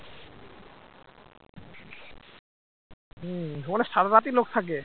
হম ওখানে সারা রাতি লোক থাকে